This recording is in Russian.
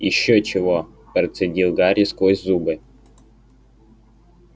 ещё чего процедил гарри сквозь зубы